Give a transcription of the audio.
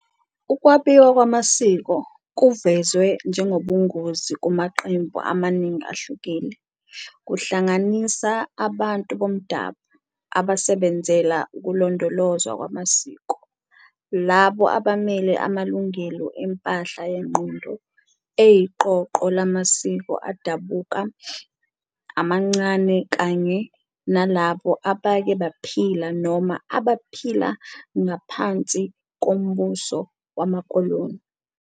Ukwabiwa kwamasiko kuvezwe ngengobungozi kumaqembu amaningi ahlukile, kuhlanganisa abantu boMdabu abasebenzela ukulondolozwa kwamasiko, labo abamele amalungelo empahla yengqondo eyiqoqo lamasiko adabuka, amancane, kanye nalabo abake baphila noma abaphila ngaphansi kombuso wamakoloni.